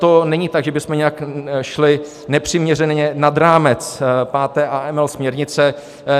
To není tak, že bychom šli nějak nepřiměřeně nad rámec 5. AML směrnice.